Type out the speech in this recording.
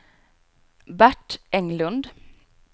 Bert Englund